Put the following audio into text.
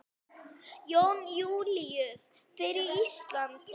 Jón Júlíus: Fyrir Íslandi?